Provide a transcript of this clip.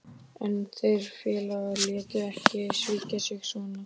En þeir félagarnir létu ekki svíkja sig svona.